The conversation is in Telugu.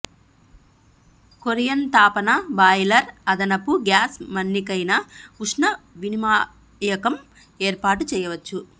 కొరియన్ తాపన బాయిలర్ అదనపు గ్యాస్ మన్నికైన ఉష్ణ వినిమాయకం ఏర్పాటు చేయవచ్చు